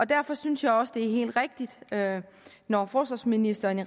derfor synes jeg også det helt rigtigt når forsvarsministeren i